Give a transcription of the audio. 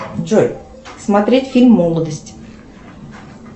джой смотреть фильм молодость